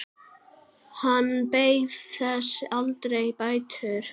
Hann beið þess aldrei bætur.